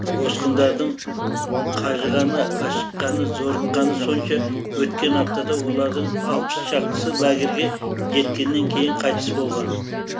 босқындардың қажығаны ашыққаны зорыққаны сонша өткен аптада олардың алпыс шақтысы лагерьге жеткеннен кейін қайтыс болған